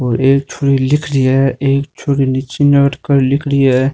और एक छोरी लिख री है एक छोरी निचे नाड़ कर लिख रही हैं।